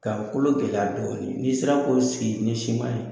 Ka o kolo gɛlɛya dɔɔnin n'i sera k'o sigi ni siman ye